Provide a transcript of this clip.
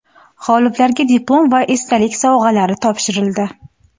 G‘oliblarga diplom va esdalik sovg‘alari topshirildi.